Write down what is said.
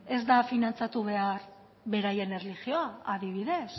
ez da finantzatu behar beraien erlijioa adibidez